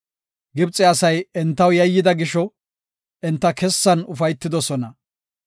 Gibxe asay entaw yayyida gisho, enta kessan ufaytidosona.